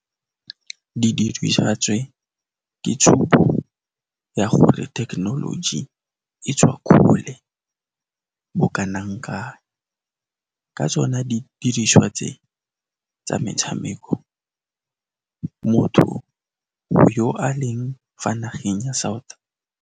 Didiriswa tse, ke tshupo ya gore thekenoloji e tswa kgole bo kanang-kang. Ka tsone di diriswa tse tsa metshameko, motho yo a leng fa nageng ya South.